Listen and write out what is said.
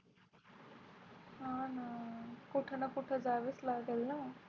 हा न कुठे ना कुठे जावे लागेल ना.